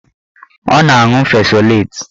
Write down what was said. Ọ na-aṅụ fesoleti